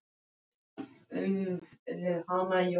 Það er ýmist hvort ég kveiki, þegar ég vakna.